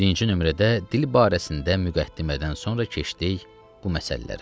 Birinci nömrədə dil barəsində müqəddimədən sonra keçdik bu məsələlərə.